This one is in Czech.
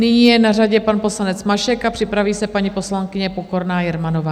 Nyní je na řadě pan poslanec Mašek a připraví se paní poslankyně Pokorná Jermanová.